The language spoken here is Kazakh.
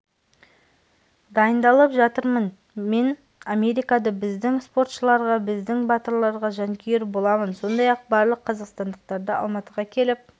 дайындалып жатырмын мен америкада біздің спортшыларға біздің батырларға жанкүйер боламын сондай-ақ барлық қазақстандықтарды алматыға келіп